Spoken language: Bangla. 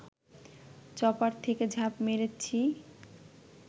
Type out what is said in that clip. চপার থেকে ঝাঁপ মেরেছি